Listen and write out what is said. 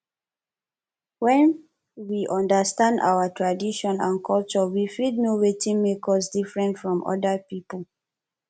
when we understand our own tradition and culture we fit know wetin make us different from oda pipo